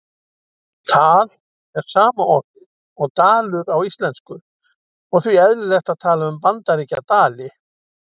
Tal er sama orðið og dalur á íslensku og því eðlilegt að tala um Bandaríkjadali.